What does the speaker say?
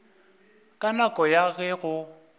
ka nako ya ge go